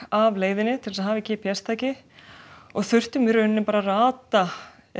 af leiðinni til að hafa í g p s tæki þurftum í rauninni bara að rata